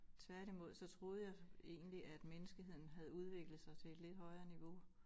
Tværtimod så troede jeg egentlig at menneskeheden havde udviklet sig til et lidt højere niveau